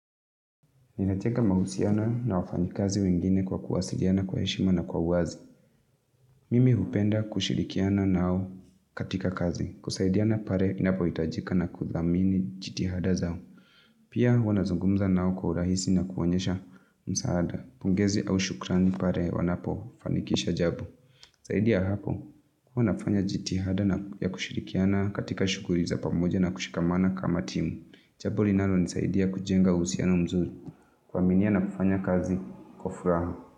Inajenga mahusiano na wafanyikazi wengine kwa kuwasiliana kwa heshima na kwa uwazi. Mimi hupenda kushirikiana nao katika kazi. Kusaidiana pale inapohitajika na kudhamini jitihada zao. Pia wanazungumza nao kwa urahisi na kuonyesha msaada. Pongezi au shukrani pale wanapofanikisha jambo. Zaidi ya hapo. Huwa nafanya jitihada na ya kushirikiana katika shuguli za pamoja na kushikamana kama timu. Jambo linalo nisaidia kujenga uhusiano mzuri. Kuaminia na kufanya kazi kwa furaha.